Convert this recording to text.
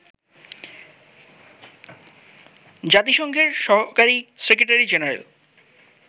জাতিসংঘের সহকারি secretary general